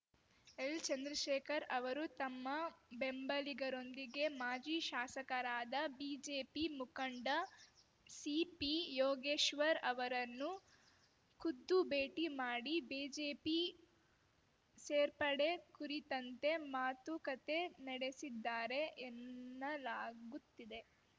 ಎಲ್‌ಚಂದ್ರಶೇಖರ್‌ ಅವರು ತಮ್ಮ ಬೆಂಬಲಿಗರೊಂದಿಗೆ ಮಾಜಿ ಶಾಸಕರಾದ ಬಿಜೆಪಿ ಮುಖಂಡ ಸಿಪಿಯೋಗೇಶ್ವರ್‌ ಅವರನ್ನು ಖುದ್ದು ಭೇಟಿ ಮಾಡಿ ಬಿಜೆಪಿ ಸೇರ್ಪಡೆ ಕುರಿತಂತೆ ಮಾತುಕತೆ ನಡೆಸಿದ್ದಾರೆ ಎನ್ನಲಾಗುತ್ತಿದೆ